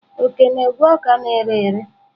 Oke na-egwe ọka na-ere ere.